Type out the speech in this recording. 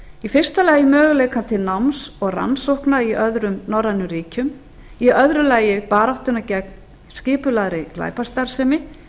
í fyrsta lagi möguleikann til náms og rannsókna í öðrum norrænum ríkjum í öðru lagi baráttuna gegn skipulagðri glæpastarfsemi